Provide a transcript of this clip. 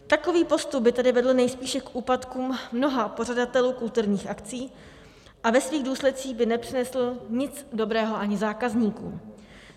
Takový postup by tedy vedl nejspíše k úpadkům mnoha pořadatelů kulturních akcí a ve svých důsledcích by nepřinesl nic dobrého ani zákazníkům.